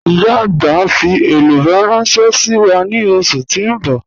Ìyá agbà n fi èlúbọ̀ ránṣẹ̀ sí wa ni ọṣù tí n bọ̀.